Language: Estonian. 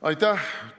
Aitäh!